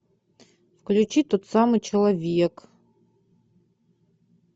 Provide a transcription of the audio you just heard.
включи тот самый человек